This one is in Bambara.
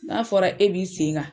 N'a fɔra e b'i sen kan